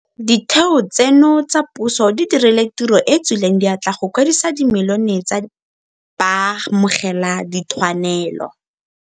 Ditheo tseno tsa puso di dirile tiro e e tswileng diatla go kwadisa dimilione tsa baamogeladithwanelo.